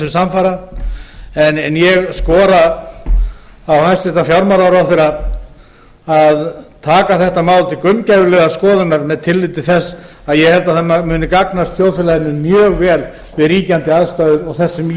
samfara en ég skora á hæstvirtan fjármálaráðherra að taka þetta mál til gaumgæfilegrar skoðunar með tilliti til þess að ég held að það muni gagnast þjóðfélaginu mjög vel við ríkjandi aðstæður og það sem í